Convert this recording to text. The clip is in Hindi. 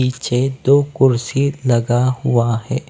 पीछे दो कुर्सी लगा हुआ हैं ।